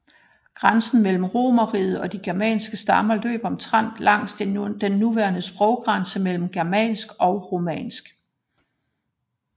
Grænsen mellem romerriget og de germanske stammer løb omtrent langs den nuværende sproggrænse mellem germansk og romansk